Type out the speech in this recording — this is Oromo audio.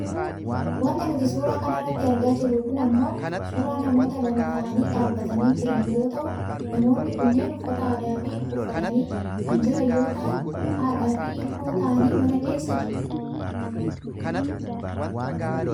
Wanti nuti suuraa kanarratti argaa jirru kun ammoo suuraa namoota lama ta'anii dhaabbatanii jiran yoo ta'u namoonni kunneen uffata aadaa uffatanii kan jiran yoo ta'an haadhaafi ilmoo ta'anii mana keessa jiru.